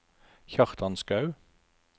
Kjartan Skaug